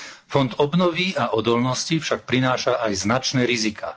Fond obnovy a odolnosti však prináša aj značné riziká.